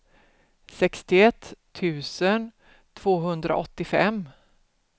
sextioett tusen tvåhundraåttiofem